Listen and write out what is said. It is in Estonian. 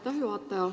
Aitäh, juhataja!